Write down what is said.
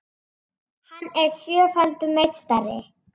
Hann er sjöfaldur meistari